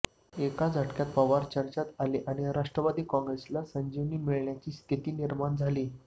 एका झटक्यात पवार चर्चेत आले आणि राष्ट्रवादी काँग्रेसला संजीवनी मिळण्याची स्थिती निर्माण झाली